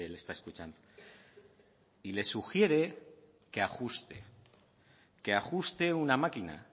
le está escuchando y le sugiere que ajuste una máquina